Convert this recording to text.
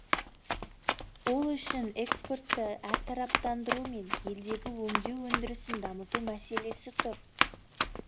ол үшін экспортты әртараптандыру мен елдегі өңдеу өндірісін дамыту мәселесі тұр